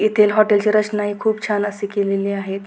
येथील हॉटेल ची रचना हि खूप छान अशी केलेली आहेत.